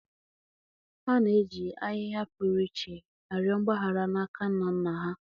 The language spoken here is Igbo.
. Ha na-eji ahịhịa pụrụ iche arịọ mgbaghara n’aka ndị nna nna ha.